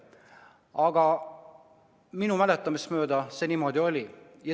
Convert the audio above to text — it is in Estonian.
Aga minu mäletamist mööda see niimoodi oli.